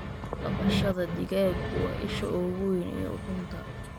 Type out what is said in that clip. Dhaqashada digaaggu waa isha ugu weyn ee ukunta.